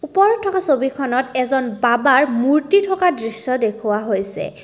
ওপৰত থকা ছবিখনত এজন বাবাৰ মূৰ্তি থকা দৃশ্য দেখুওৱা হৈছে।